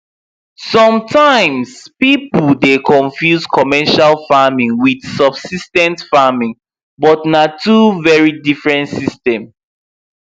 sometimes people dey confuse commercial farming with subsis ten ce farming but na two very diffrent system